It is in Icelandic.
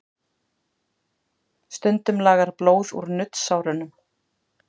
Stundum lagar blóð úr nuddsárunum.